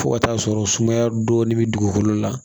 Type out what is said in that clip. Fo ka t'a sɔrɔ sumaya dɔɔnin bɛ dugukolo la